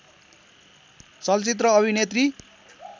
चलचित्र अभिनेत्री